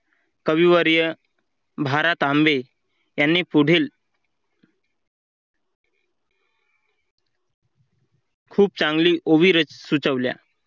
कविवर्य भारत आंबे यांनी पुढील खूप चांगली ओवी सुचवल्या.